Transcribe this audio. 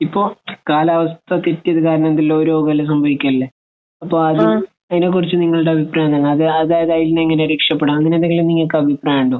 ഇപ്പോൾ കാലാവസ്ഥ തെറ്റിയത് കാരണം ഓരോ രോഗം എല്ലാം സംഭവിക്കുന്നില്ലേ? അപ്പോൾ അത് അതിനെ കുറിച്ച് നിങ്ങളുടെ അഭിപ്രായം എന്താണ്. അത് അതായത് അതിനെ എങ്ങനെയാണ് രക്ഷപ്പെടുക. അങ്ങനെ എന്തെങ്കിലും നിങ്ങൾക്ക് അഭിപ്രായം ഉണ്ടോ?